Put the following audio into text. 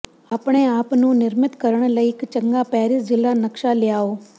ਆਪਣੇ ਆਪ ਨੂੰ ਨਿਰਮਿਤ ਕਰਨ ਲਈ ਇੱਕ ਚੰਗਾ ਪੈਰਿਸ ਜ਼ਿਲਾ ਨਕਸ਼ਾ ਲਿਆਓ